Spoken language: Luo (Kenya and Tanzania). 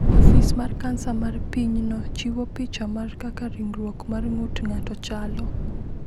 Ofis mar Kansa mar pinyno chiwo picha mar kaka ringruok mar ng’ut ng’ato chalo.